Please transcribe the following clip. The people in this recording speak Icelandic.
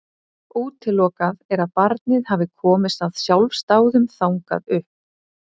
Útilokað er að barnið hafi komist af sjálfsdáðum þangað upp.